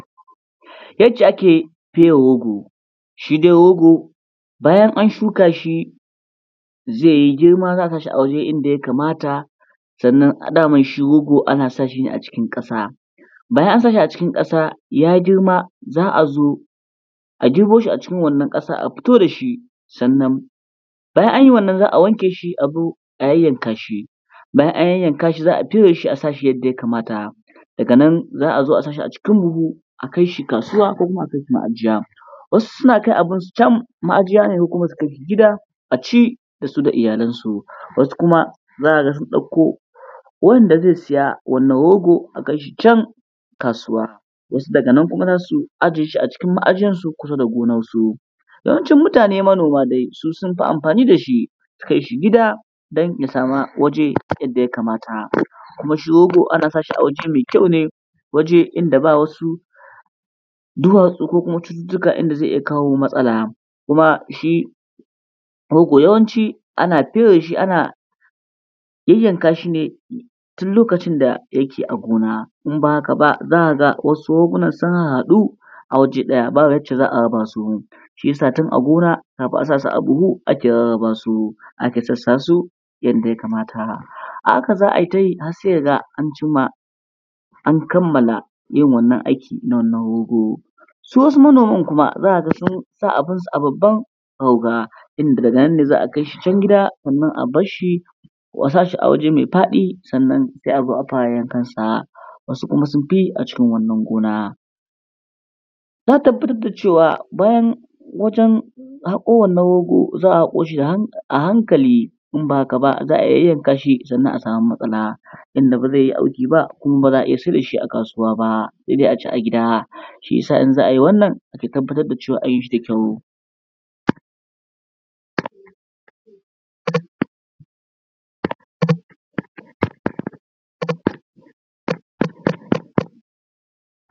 Yacce ake fere rogo, shi dai rogo bayan an shuka shi. Zai yi girma za a sa shi a wuri inda yakamata, sannan dama shi rogo ana sa shi ne a cikin ƙasa. Bayan an sa shi a cikin ƙasa ya girma, za a zo a girbo shi a cikin wannan ƙasa a fito da shi. Sannan bayan an yi wannan za a wanke shi a zo a yayyanka shi, bayan an yayyanka shi za a fere shi a sa shi yadda yakamata. Daga nan za a zo a sa shi a cikin buhu, a kai shi kasuwa ko kuma a kai shi ma’ajiya,. Wasu suna kai abin su can ma’ajiya ne ko kuma su kai shi gida aci da su da iyalansu, wasu kuma za ka ga sun ɗauko wanda zai saya wannan rogo a kai shi can kasuwa. Wasu daga nan kuma za su ajiye shi a cikin ma’ajiyarsu kusa da gonansu. Yawancin mutane manoma dai, su sun fi yin amfani da shi, su kai shi gida don ya sama waje yadda yakamata. Kuma shi rogo ana sa shi a waje mai kyau ne waje inda ba wasu duwatsu ko kuma cututtuka inda zai iya kawo matsala, kuma shi rogo yawanci ana fere shi ana yayyanka shi ne, tun lokacin da yake a gona in bah aka ba, za ka ga wasu rogon sun hahhɗu a waje ɗaya ba yacca za a raba su. Shi ya sa tun a gona kafin a sa su a buhu ake rarrraba su, ake sassa su yadda yakamata. A haka za ai ta yi har sai ka ga an cimma, an kamala yin wannan aiki na wannan rogo. Su wasu manoman kuma za ka ga sun sa abin su a babban rauga, inda daga nan ne za a kai shi can gida sanan a basshi, ko a sa shi a waje mai faɗi sannan sai a fara yankan sa. Wasu kuma sun fi yi a cikin wannan gona. Ta tabbatar da cewa bayan wajen haƙo wannan rogo za a haƙo shi a hankali in ba haka ba za a yayyanka, sannan a sami matsala inda ba zai yi auki ba kuma ba za a sayar da shi a kasuwa ba, sai dai a ci a gida, shi ya sa idan za a ai wannan ake tabbatar da an yi shi da kyau.